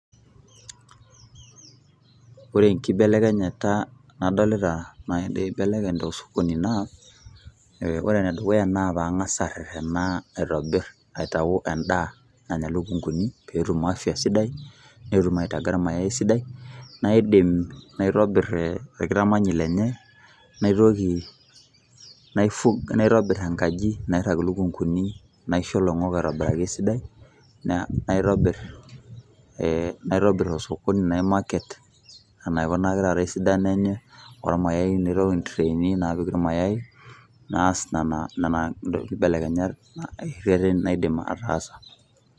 Ore enkibelekenyata nadolita naibelekeny tosokoni naa, ore enedukuya naa pang'asa arrerrena aitobir aitau endaa nanya lukunkuni petum afya sidai, netum aitaga irmayai esidai, naidim naitobir orkitamanyi lenye, naitoki naitobir enkaji nairrag ilukunkuni naisho loing'ok aitobiraki esidai, naitobir osokoni nai market enaikunaki taata esidano enye, ormayai naitau intreini napik irmayai, naas nana kibelekenyat errerren naidim ataasa.